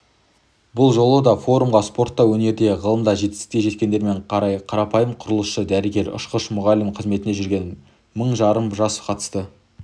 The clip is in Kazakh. бұл жолы да форумға спортта өнерде ғылымда жетістікке жеткендермен қатар қарапайым құрылысшы дәрігер ұшқыш мұғалім қызметінде жүрген мың жарым жас қатысты